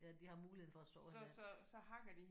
Ja de har muligheden for at såre hinanden